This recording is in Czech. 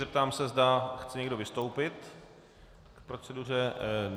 Zeptám se, zda chce někdo vystoupit k proceduře.